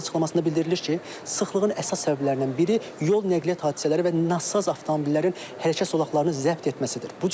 Mərkəzin açıqlamasında bildirilir ki, sıxlığın əsas səbəblərindən biri yol nəqliyyat hadisələri və nasaz avtomobillərin hərəkət sulaqlarını zəbt etməsidir.